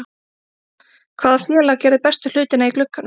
Hvaða félag gerði bestu hlutina í glugganum?